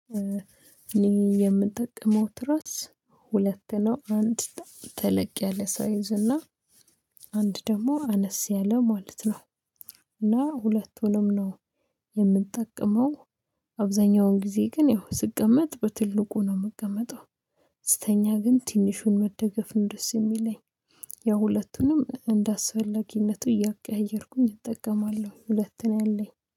እኔ የምጠቅመው ትራስ ሁለት ነው አንድ ተለቅ ያለ ሳይዝ እና አንድ ደግሞ አነስ ያለ ማለት ነው። እና ሁለቱንም ነው የምጠቅመው። አብዛኛውን ጊዜ ግን ይሄው ስቀመጥ በትልቁ ነው የምቀመጠው። ስተኛ ግን ትንሹን መደገፍ ነው ደስ የሚለኝ። ያው ሁለቱንም እንደአስፈላጊነቱ እያቀያየርኩኝ እጠቀማለሁ። ሁለት ነው ያለኝ